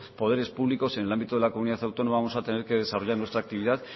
poderes públicos en el ámbito de la comunidad autónoma vamos a tener que desarrollar nuestra actividad